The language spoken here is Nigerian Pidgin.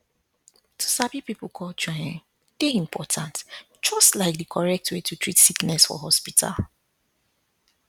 to sabi people culture um dey important just like di correct way to treat sickness for hospital